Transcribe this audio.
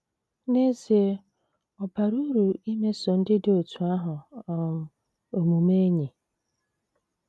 N’ezie, ọ bara uru imeso ndị dị otú ahụ um omume enyi.